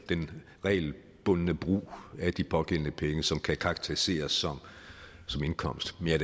den regelbundne brug af de pågældende penge som kan karakteriseres som indkomst men jeg